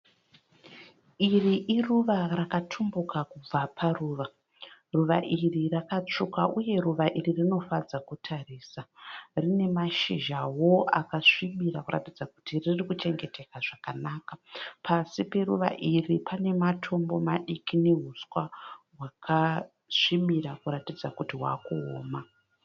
Iri iruva rakatumbuka kubva paruva. Ruva iri rakatsvuka uye ruva iri rinofadza kutarisa. Rine mashizhawo akasvibira kuratidza kuti riri kuchengetedzwa zvakanaka. Pasi peruva iri pane matombo madiki nehuswa hwakasvibira kuratidza kuti hwaa kuoma.